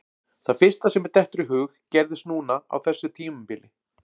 Það fyrsta sem mér dettur í hug gerðist núna á þessu tímabili.